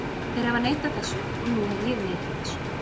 Þeir hafa neitað þessu og nú hef ég neitað þessu.